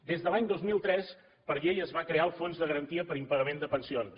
des de l’any dos mil tres per llei es va crear el fons de garantia per impagament de pensions